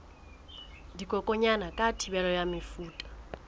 dikokwanyana ka thibelo ya mefuta